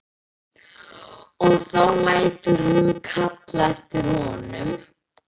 Og þá lætur hún kalla eftir honum.